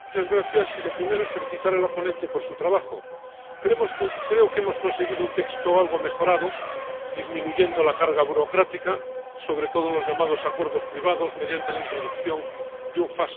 Señor presidente, lo primero es felicitar a la ponente por su trabajo. Creo que hemos conseguido un texto algo mejorado disminuyendo la carga burocrática, sobre todo en los llamados acuerdos privados, mediante la introducción de un